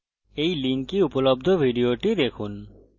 এই link উপলব্ধ video দেখুন